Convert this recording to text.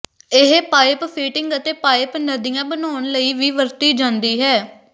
ਇਹ pipe fitting ਅਤੇ pipe ਨਦੀਆਂ ਬਣਾਉਣ ਲਈ ਵੀ ਵਰਤੀ ਜਾਂਦੀ ਹੈ